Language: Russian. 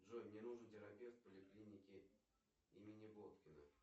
джой мне нужен терапевт в поликлинике имени боткина